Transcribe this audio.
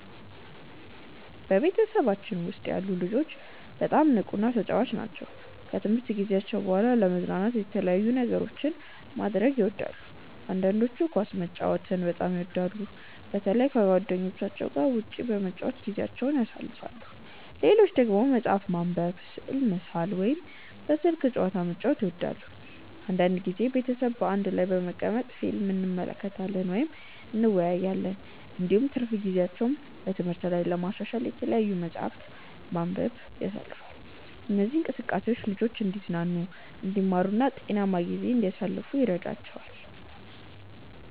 በቤተሰባችን ውስጥ ያሉ ልጆች በጣም ንቁና ተጫዋች ናቸው። ከትምህርት ጊዜያቸው በኋላ ለመዝናናት የተለያዩ ነገሮችን ማድረግ ይወዳሉ። አንዳንዶቹ ኳስ መጫወትን በጣም ይወዳሉ፣ በተለይ ከጓደኞቻቸው ጋር ውጭ በመጫወት ጊዜያቸውን ያሳልፋሉ። ሌሎች ደግሞ መጽሐፍ ማንበብ፣ ስዕል መሳል ወይም በስልክ ጨዋታ መጫወት ይወዳሉ። አንዳንድ ጊዜ ቤተሰብ በአንድ ላይ በመቀመጥ ፊልም እንመለከታለን ወይም እንወያያለን። እንዲሁም ትርፍ ጊዜያቸውን በትምህርት ላይ ለማሻሻል በተለያዩ መጻሕፍት ማንበብ ያሳልፋሉ። እነዚህ እንቅስቃሴዎች ልጆቹ እንዲዝናኑ፣ እንዲማሩ እና ጤናማ ጊዜ እንዲያሳልፉ ይረዳቸዋል።